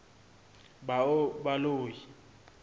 baloi